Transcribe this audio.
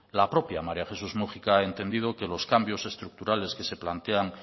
la propia maría jesés múgica ha entendido que los cambios estructurales que se plantean